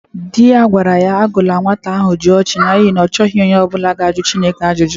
Di ya gwara ya agụla nnwata ahụ Jụọchị n'ihi na ọ chọghị onye ọ bụla ịjụ Chineka ajụjụ!